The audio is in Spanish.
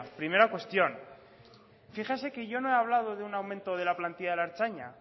primera cuestión fíjese que yo no he hablado de un aumento de la plantilla de la ertzaintza